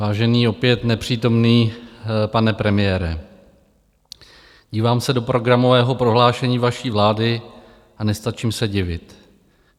Vážený, opět nepřítomný pane premiére, dívám se do programového prohlášení vaší vlády a nestačím se divit.